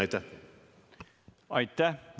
Aitäh!